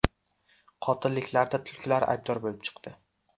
Qotilliklarda tulkilar aybdor bo‘lib chiqdi.